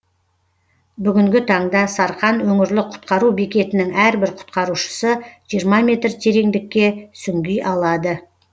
бүгінгі таңда сарқан өңірлік құтқару бекетінің әрбір құтқарушысы жиырма метр тереңдікке сүңги алады